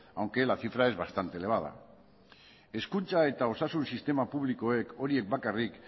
aunque la cifra es bastante elevada hezkuntza eta osasun sistema publikoek horiek bakarrik